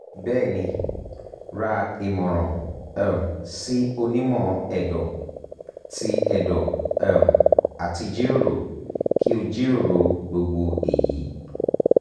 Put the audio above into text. bẹ̃ni ra imọran um si onimọ-ẹdọ ti ẹdọ um ati jiroro ki o jiroro gbogbo eyi